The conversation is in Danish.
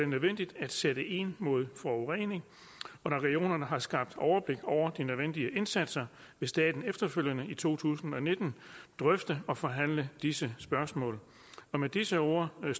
nødvendigt at sætte ind mod forurening og når regionerne har skabt overblik over de nødvendige indsatser vil staten efterfølgende i to tusind og nitten drøfte og forhandle disse spørgsmål med disse ord vil